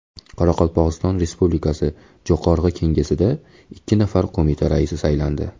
Qoraqalpog‘iston Respublikasi Jo‘qorg‘i Kengesiga ikki nafar qo‘mita raisi saylandi.